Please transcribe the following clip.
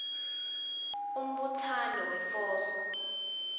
umbutsano wefoso